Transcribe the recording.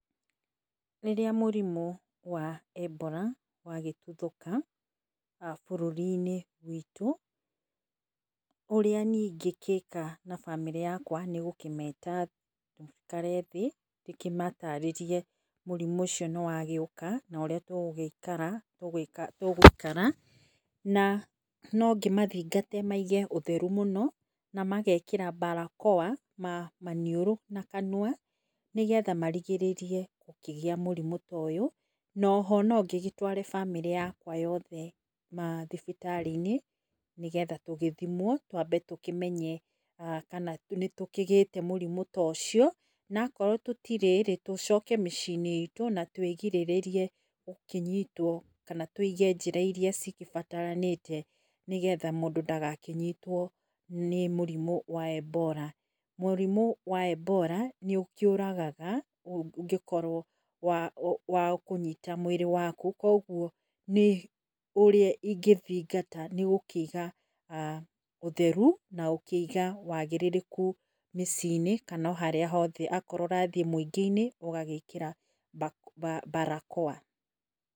Rĩrĩa mũrimũ wa Ebola wagĩtuthũka bũrũri -inĩ witũ ũrĩa niĩ ingĩgĩka na bamĩrĩ yakwa nĩgũkĩmeta maikare thĩ ngĩmatarĩrĩrie mũrimũ ũcio nĩ wagĩũka na ũrĩa tũgũikara. Nongĩmathingate maige ũtheru mũno na magekĩra mbarakoa maniũrũ na kanua nĩgetha marigĩrĩrie gũkĩgĩa mũrimũ ta ũyũ noho nongĩgĩtware bamĩrĩ yakwa yothe mathibitarĩ i-nĩ nĩgetha tũgĩthimwo twambe tũkĩmenye nĩ tũkĩgĩte mũrimũ ta ũcio na akorwo tũtirĩ rĩ tũcoke mĩciĩ inĩ itũ na twĩgirĩrĩrie gũkĩnyitwo kana tũige njĩra ĩrĩa cigĩbataranĩte nĩgetha mũndũ ndagakĩnyitwo nĩ mũrimo wa Ebola. Mũrimo wa Ebola nĩũkĩũragaga ũngĩkorwo wakũnyita mwĩrĩ waku koguo ũrĩa ingĩthingata nĩgũkĩiga ũtheru kana wagĩrĩrĩku mĩciĩ inĩ kana oharĩa hothe akorwo ũrathiĩ mũingĩ inĩ ũgagĩkĩra mbarakoa.